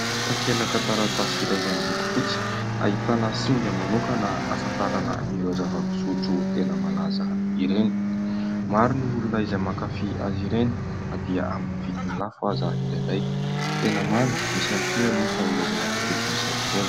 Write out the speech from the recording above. Takelaka taratasy iray izay miloko fotsy, ahitana singa manokana ahafantarana ireo zava-pisotro tena malaza ireny. Maro ny olona izay mankafy azy ireny na dia amin'ny vidiny lafo aza indraindray ; tena mamy misy ihany kosa anefa ireo zava-pisotro misy alkaola.